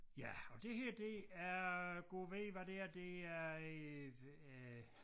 Ja og det her det er Gud ved hvad det her det er øh øh